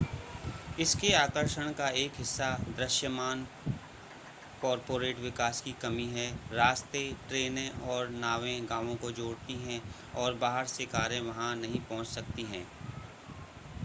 इसके आकर्षण का एक हिस्सा दृश्यमान कॉर्पोरेट विकास की कमी है रास्ते ट्रेनें और नावें गांवों को जोड़ती हैं और बाहर से कारें वहां नहीं पहुंच सकती हैं